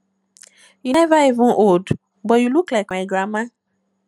you never even old but you look like my grandmama